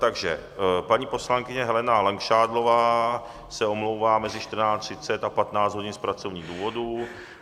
Takže paní poslankyně Helena Langšádlová se omlouvá mezi 14.30 a 15 hodin z pracovních důvodů.